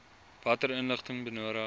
watter inligting benodig